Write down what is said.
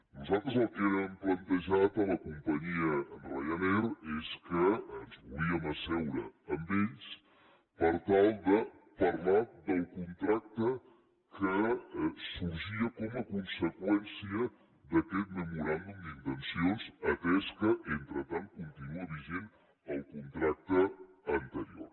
nosaltres el que hem plantejat a la companyia ryanair és que ens volíem asseure amb ells per tal de parlar del contracte que sorgia com a conseqüència d’aquest memoràndum d’intencions atès que entretant continua vigent el contracte anterior